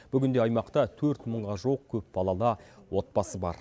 бүгінде аймақта төрт мыңға жуық көпбалалы отбасы бар